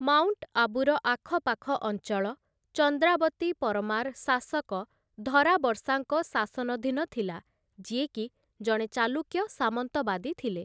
Mount ଆବୁର ଆଖପାଖ ଅଞ୍ଚଳ, ଚନ୍ଦ୍ରାବତୀ ପରମାର୍‌ ଶାସକ ଧରାବର୍ଷାଙ୍କ ଶାସନଧୀନ ଥିଲା, ଯିଏକି ଜଣେ ଚାଲୁକ୍ୟ ସାମନ୍ତବାଦୀ ଥିଲେ ।